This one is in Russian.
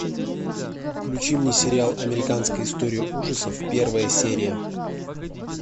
включи мне сериал американская история ужасов первая серия